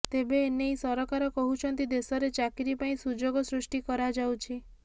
ତେନେ ଏନେଇ ସରକାର କହୁଛନ୍ତି ଦେଶରେ ଚାକିରି ପାଇଁ ସୁଯୋଗ ସୃଷ୍ଟି କରାଯାଉଛି